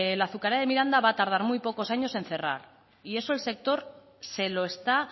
la azucarera de miranda va a tardar muy pocos años en cerrar y eso el sector se lo está